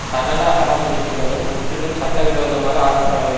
சகல அவமதிப்புகளும் முற்றிலும் சட்டவிரோதமாக ஆக்கப்படவேண்டும்